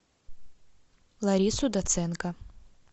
ларису доценко